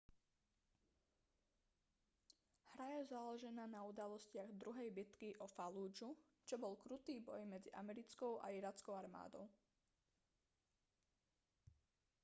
hra je založená na udalostiach druhej bitky o fallúdžu čo bol krutý boj medzi americkou a irackou armádou